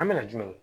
An bɛna jumɛnw